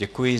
Děkuji.